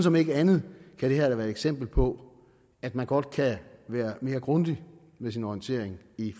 om ikke andet kan være et eksempel på at man godt kan være mere grundig med sin orientering i